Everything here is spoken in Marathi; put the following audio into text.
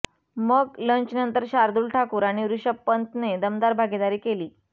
मग लंचनंतर शार्दुल ठाकूर आणि ऋषभ पंतने दमदार भागीदारी केली